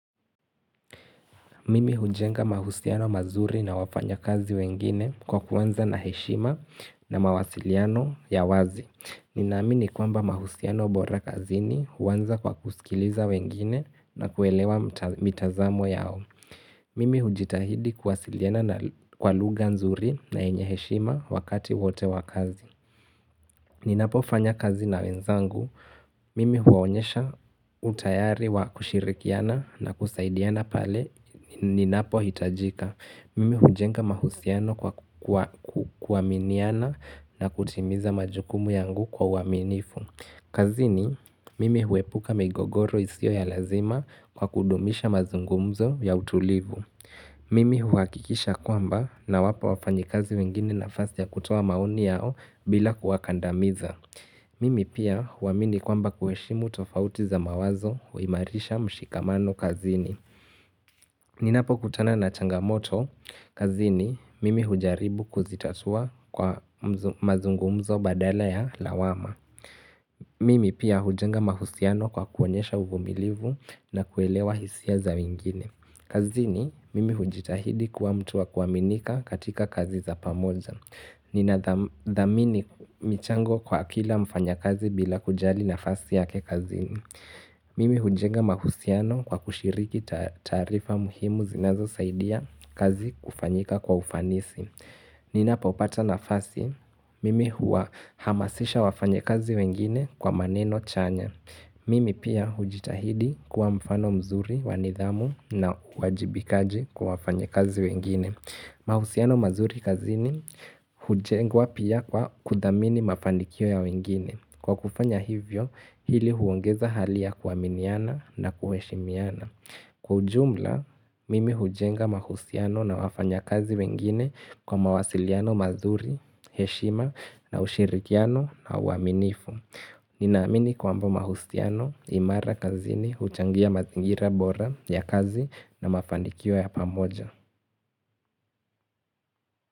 Mimi hujenga mahusiano mazuri na wafanyikazi wengine kwa kuanza na heshima na mawasiliano ya wazi. Ninaamini kwamba mahusiano bora kazini huanza kwa kusikiliza wengine na kuelewa mitazamo yao. Mimi hujitahidi kuwasiliana na kwa lugha nzuri na yenye heshima wakati wote wa kazi. Ninapofanya kazi na wenzangu, mimi huwaonyesha utayari wa kushirikiana na kusaidiana pale ninapohitajika Mimi hujenga mahusiano kwa kuaminiana na kutimiza majukumu yangu kwa uaminifu kazini, mimi huepuka migogoro isiyo ya lazima kwa kudumisha mazungumzo ya utulivu Mimi huhakikisha kwamba nawapa wafanyikazi wengine nafasi ya kutoa maoni yao bila kuwakandamiza. Mimi pia huamini kwamba kuheshimu tofauti za mawazo huimarisha mshikamano kazini. Ninapokutana na changamoto, kazini mimi hujaribu kuzitatua kwa mazungumzo badala ya lawama. Mimi pia hujenga mahusiano kwa kuonyesha uvumilivu na kuelewa hisia za wengine. Kazini mimi hujitahidi kuwa mtu wa kuaminika katika kazi za pamoja. Ninathamini michango kwa kila mfanyikazi bila kujali nafasi yake kazini. Mimi hujenga mahusiano kwa kushiriki taarifa muhimu zinazosaidia kazi kufanyika kwa ufanisi. Ninapopata nafasi mimi huwa hamasisha wafanyakazi wengine kwa maneno chanya. Mimi pia hujitahidi kuwa mfano mzuri wa nidhamu na uwajibikaji kwa wafanyakazi wengine. Mahusiano mazuri kazini hujengwa pia kwa kuthamini mafanikio ya wengine. Kwa kufanya hivyo, hili huongeza hali ya kuaminiana na kuheshimiana. Kwa ujumla, mimi hujenga mahusiano na wafanyakazi wengine kwa mawasiliano mazuri, heshima na ushirikiano na uaminifu. Ninaamini kwamba mahusiano imara kazini huchangia mazingira bora ya kazi na mafanikio ya pamoja.